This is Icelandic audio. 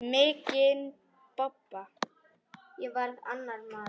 Mikinn bobba.